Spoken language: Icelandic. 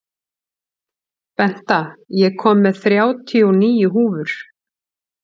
Benta, ég kom með þrjátíu og níu húfur!